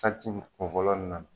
in kun fɔlɔ in na